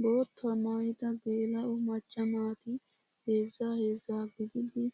Boottaa maayyida geela'o macca naati heezzaa heezzaa gididi